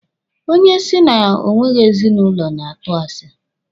Onye si na o nweghị ezinụlọ na-atụ asi.